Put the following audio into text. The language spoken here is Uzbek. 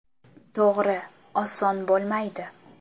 To‘g‘ri, oson bo‘lmaydi.